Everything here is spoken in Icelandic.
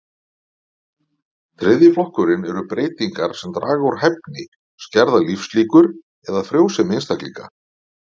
Þriðji flokkurinn eru breytingar sem draga úr hæfni, skerða lífslíkur eða frjósemi einstaklinga.